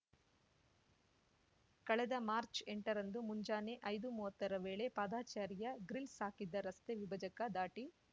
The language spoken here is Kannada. ಕಳೆದ ಮಾರ್ಚ್ ಎಂಟ ರಂದು ಮುಂಜಾನೆ ಐದುಮುವ್ವತ್ತರ ವೇಳೆ ಪಾದಚಾರಿಯು ಗ್ರಿಲ್ಸ್ ಹಾಕಿದ್ದ ರಸ್ತೆ ವಿಭಜಕ ದಾಟಿ